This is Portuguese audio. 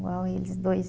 Igual eles dois aí.